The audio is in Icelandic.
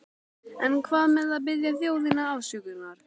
En hvað með að biðja þjóðina afsökunar?